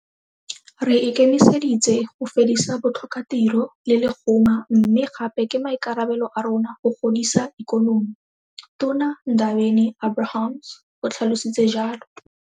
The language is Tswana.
Re ikemiseditse go fedisa botlhokatiro le lehuma mme gape ke maikarabelo a rona go godisa ikonomi, Tona Ndabeni-Abrahams o tlhalositse jalo.